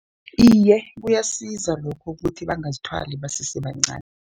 Iye, kuyasiza lokhu ukuthi bangazithwali basese bancani.